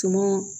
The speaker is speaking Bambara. Tumu